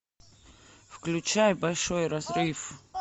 включай большой разрыв